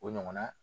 O ɲɔgɔnna